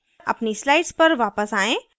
अपनी slides पर वापस आयें